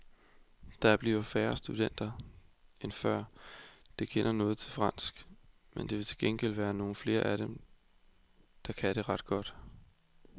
Der bliver færre studenter end før, der kender noget til fransk, men der vil til gengæld være nogle af dem, der kan det ret godt.